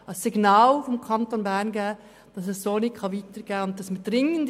Es soll ein Signal des Kantons Bern sein, wonach es so nicht weitergehen kann.